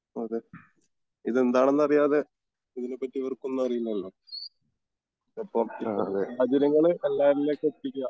അതെ ഇതെന്തെണെന്ന് അറിയാതെ ഇതിനെപറ്റി ഇവർക്കൊന്നും അറിയില്ലലോ എന്തായാലും സാഹചര്യങ്ങള് എല്ലാവരിലേക്കും എത്തിക്കുക